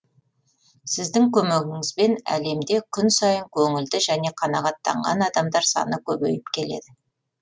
сіздің көмегіңізбен әлемде күн сайын көңілді және қанағаттанған адамдар саны көбейіп келеді